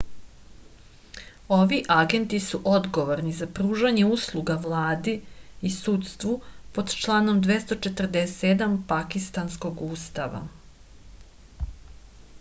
ovi agenti su odgovorni za pružanje usluga vladi i sudstvu pod članom 247 pakistanskog ustava